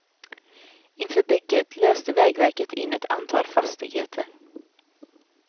Inför bygget löste vägverket in ett antal fastigheter.